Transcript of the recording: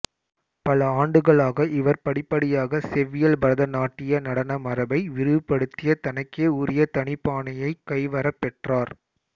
பல ஆண்டுகளாக இவர் படிப்படியாக செவ்வியல் பரத நாட்டிய நடன மரபை விரிவுபடுத்திய தனக்கே உரிய தனிப்பாணியைக் கைவரப் பெற்றார்